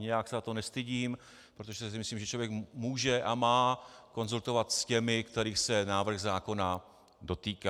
Nijak se za to nestydím, protože si myslím, že člověk může a má konzultovat s těmi, kterých se návrh zákona dotýká.